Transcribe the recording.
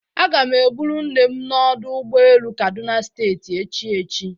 Aga m eburu nne m n'ọdụ ụgbọ elu Kaduna steeti echi echi.